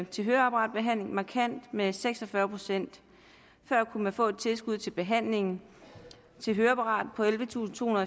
til høreapparatbehandling markant med seks og fyrre procent før kunne man få et tilskud til behandlingen til høreapparat på ellevetusinde